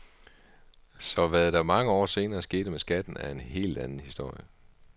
Så hvad der mange år senere skete med skatten er en helt anden historie.